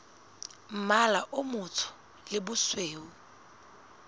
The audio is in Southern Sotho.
mmala o motsho le bosweu